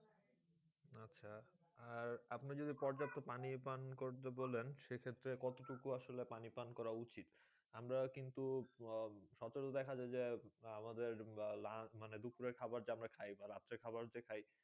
আর আপনি যদি পর্যাপ্ত পানি পান করতে বলেন, তাহলে সেক্ষেত্রে কতো টুকু আসলে পানি পান করা উচিৎ? আমরা কিন্তু সচরাচর দেখা যায় যে, আহ আমাদের দুপুরের খাওয়ার যে আমরা খাই বা রাত্রের খাওয়ার যে খাই,